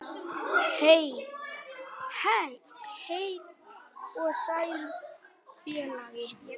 Nei, heill og sæll félagi!